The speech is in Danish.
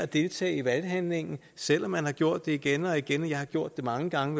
deltage i valghandlingen selv om man har gjort det igen og igen og jeg har gjort det mange gange